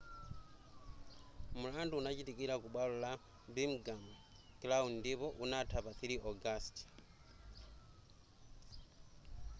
mlandu unachitikira ku bwalo la birmingham crown ndipo unatha pa 3 ogasiti